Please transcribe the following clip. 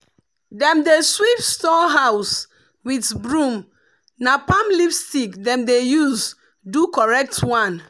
dem dey sweep store house with broom na palm leaf stick dem dey use do correct one.